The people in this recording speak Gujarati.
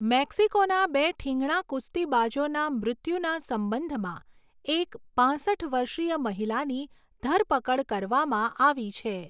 મેક્સિકોના બે ઠીંગણા કુસ્તીબાજોના મૃત્યુના સંબંધમાં એક પાંસઠ વર્ષીય મહિલાની ધરપકડ કરવામાં આવી છે.